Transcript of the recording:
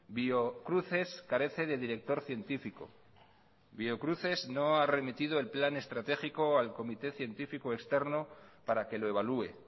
biocruces carece de director científico biocruces no ha remitido el plan estratégico al comité científico externo para que lo evalúe